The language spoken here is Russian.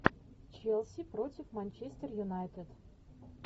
челси против манчестер юнайтед